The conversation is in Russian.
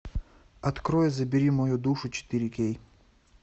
открой забери мою душу четыре кей